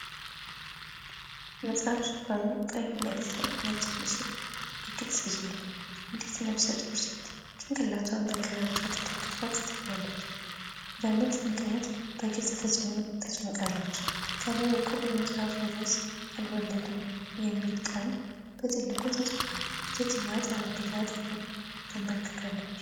የመጽሐፍ ሽፋኑ ቀይ መሬት ላይ ነጭ ምስል በግልጽ ይዟል። አንዲት ነፍሰ ጡር ሴት ጭንቅላቷን በግራ እጇ ተደግፋ ትታያለች፤ በምጥ ምክንያት በግልጽ ተጨንቃለች። ከላይ በኩል የመጽሐፉ ርዕስ "አልወለድም" የሚለው ቃል በትልቁ ተጽፏል። ሴትየዋ ጠረጴዛ አጠገብ ተንበርክካለች።